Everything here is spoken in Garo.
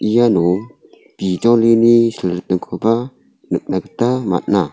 iano bijolini silritingkoba nikna gita man·a.